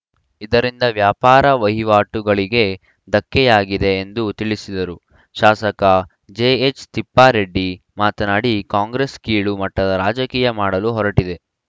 ಇದರಿಂದ ವ್ಯಾಪಾರ ವಹಿವಾಟುಗಳಿಗೆ ಧಕ್ಕೆಯಾಗಿದೆ ಎಂದು ತಿಳಿಸಿದರು ಶಾಸಕ ಜೆ ಎಚ್‌ ತಿಪ್ಪಾರೆಡ್ಡಿ ಮಾತನಾಡಿ ಕಾಂಗ್ರೆಸ್‌ ಕೀಳು ಮಟ್ಟದ ರಾಜಕೀಯ ಮಾಡಲು ಹೊರಟಿದೆ